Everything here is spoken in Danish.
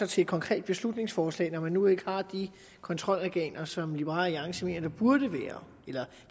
til et konkret beslutningsforslag når man nu ikke har de kontrolorganer som liberal alliance mener der burde være eller